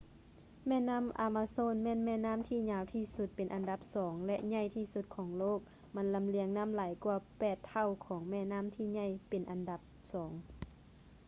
ແມ່ນໍ້າ ອາມາໂຊນ ແມ່ນແມ່ນໍ້າທີ່ຍາວທີ່ສຸດເປັນອັນດັບສອງ ແລະ ໃຫຍ່ທີ່ສຸດຂອງໂລກ ມັນລຳລຽງນ້ຳຫຼາຍກ່ວາ 8 ເທົ່າຂອງແມ່ນໍ້າທີ່ໃຫຍ່ເປັນອັນດັບສອງ